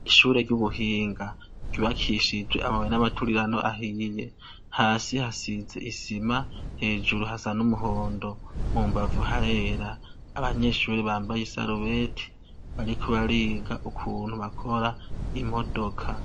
Ishure ry'ubuhinga, ryubakishijwe amabuye n'amaturirano ahiye ,hasi hasize isima hejuru, hasa n'umuhondo mu mbavu harera, Abanyeshuri bambaye isaruweti bariko bariga ukuntu bakora imodoka.